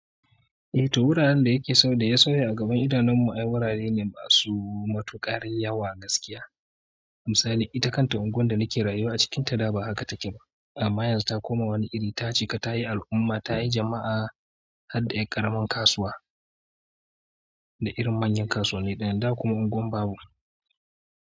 Eh to wuraren dayake sau da ya sauya a gaban idanunmu ai wurare ne masu matuƙar yawa gaskiya. Misali ita kanta unguwar da nake rayuwa a cikinta da ba haka take ba. Amma yanzu ta koma wani iri ta cika ta yi al'umma, ta yi jama'a har da ƴar ƙaramar kasuwa da irin manyan kasuwanni ɗaya, da kuma unguwar babu.